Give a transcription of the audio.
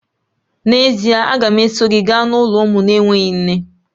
N'ezie!, a ga m eso gị gaa n'ụlọ ụmụ na-enweghị nne